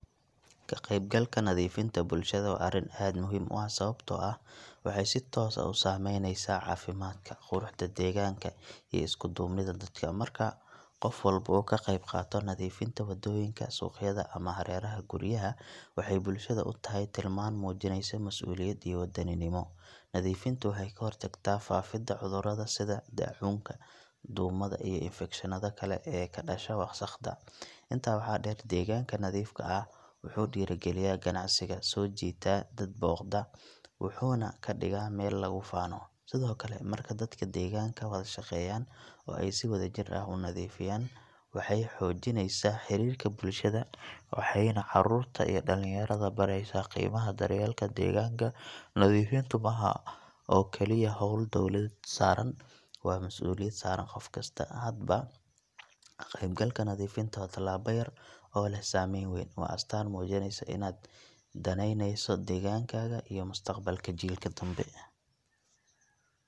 Ka qaybgalka nadiifinta bulshada waa arrin aad muhiim u ah sababtoo ah waxay si toos ah u saameynaysaa caafimaadka, quruxda deegaanka, iyo isku duubnida dadka. Marka qof walba uu ka qayb qaato nadiifinta waddooyinka, suuqyada, ama hareeraha guryaha, waxay bulshada u tahay tilmaan muujinaysa mas’uuliyad iyo wadaninimo. Nadiifintu waxay ka hortagtaa faafidda cudurrada sida daacuunka, duumada, iyo infekshannada kale ee ku dhasha wasakhda. Intaa waxaa dheer, deegaanka nadiifka ah wuxuu dhiirrigeliyaa ganacsiga, soo jiitaa dad booqda, wuxuuna ka dhigaa meel lagu faano. Sidoo kale, marka dadka deegaanka wada shaqeeyaan oo ay si wadajir ah u nadiifiyaan, waxay xoojinaysaa xiriirka bulshada, waxayna carruurta iyo dhalinyarada baraysaa qiimaha daryeelka deegaanka. Nadiifintu ma aha oo keliya hawl dowladda saaran, waa masuuliyad saaran qof kasta. Haddaba, ka qaybgalka nadiifinta waa tallaabo yar oo leh saameyn weyn. Waa astaan muujinaysa inaad danaynayso deegaankaaga iyo mustaqbalka jiilka dambe.